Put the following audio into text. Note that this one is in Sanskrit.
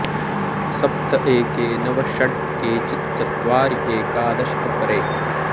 सप्त एके नव षट् केचित् चत्वारि एकादश अपरे